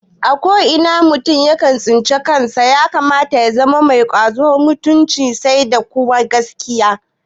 A ko ina mutum ya tsinci kansa ya kamata ya zama mai ƙwazo, mutunci sai da kuma gaskiya